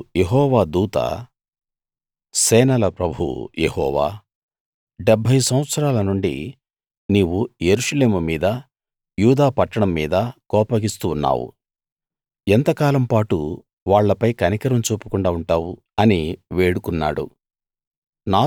అప్పుడు యెహోవా దూత సేనల ప్రభువు యెహోవా 70 సంవత్సరాల నుండి నీవు యెరూషలేము మీదా యూదా పట్టణం మీదా కోపగిస్తూ ఉన్నావు ఎంతకాలం పాటు వాళ్ళపై కనికరం చూపకుండా ఉంటావు అని వేడుకున్నాడు